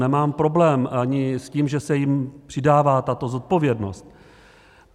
Nemám problém ani s tím, že se jim přidává tato zodpovědnost.